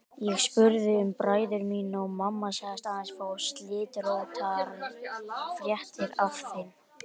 Ég spurði um bræður mína og mamma sagðist aðeins fá slitróttar fréttir af þeim.